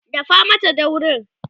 dafa Mata daurin!